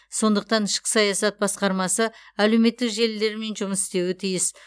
сондықтан ішкі саясат басқармасы әлеуметтік желілермен жұмыс істеуі тиіс